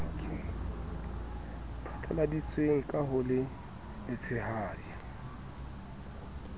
phatlaladitsweng ka ho le letshehadi